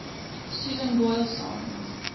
susan boyle songs